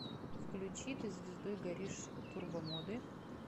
включи ты звездой горишь турбомоды